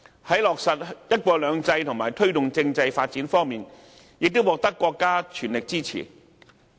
在落實"一國兩制"與推動政制發展方面，也獲得國家全力支持。